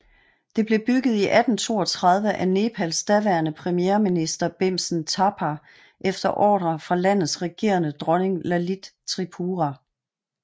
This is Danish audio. Det blev bygget i 1832 af Nepals daværende premierminister Bhimsen Thapa efter ordre fra landets regerende dronning Lalit Tripura